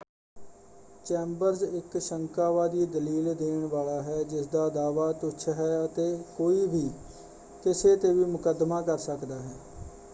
Chambers ਇੱਕ ਸ਼ੰਕਾਵਾਦੀ ਦਲੀਲ ਦੇਣ ਵਾਲਾ ਹੈ ਜਿਸਦਾ ਦਾਅਵਾ ਤੁੱਛ ਹੈ ਅਤੇ ਕੋਈ ਵੀ ਕਿਸੇ 'ਤੇ ਵੀ ਮੁੱਕਦਮਾ ਕਰ ਸਕਦਾ ਹੈ।